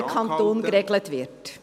… über den Kanton geregelt wird.